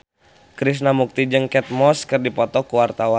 Krishna Mukti jeung Kate Moss keur dipoto ku wartawan